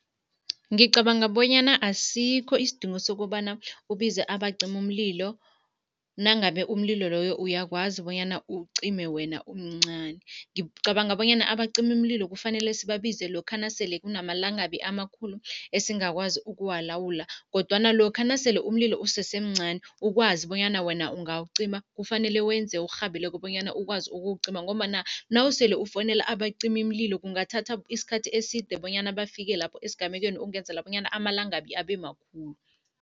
Ngicabanga bonyana asikho isidingo sokobana ubize abacimamlilo nangabe umlilo loyo uyakwazi bonyana uwucime wena, umncani. Ngicabanga bonyana abacimimlilo kufanele sibabize lokha nasele kunama langabi amakhulu esingakwazi ukuwalawula kodwana lokha nasele umlilo usesemncani, ukwazi bonyana wena ungawucima, kufanele wenze okurhabileko bonyana ukwazi ukuwucima ngombana nawusele ufowunela abacimimlilo kungathatha isikhathi eside bonyana bafike lapho esigamekweni, ukwenzela bonyana amalangabi abe makhulu.